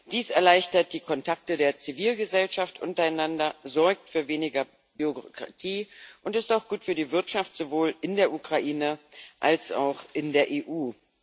Dies erleichtert die Kontakte der Zivilgesellschaft untereinander, sorgt für weniger Bürokratie und ist auch gut für die Wirtschaft sowohl in der Ukraine als auch in der EU.